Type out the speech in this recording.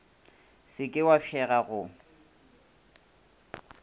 se ke wa fšega go